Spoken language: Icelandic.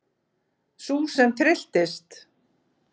Sú sem trylltist!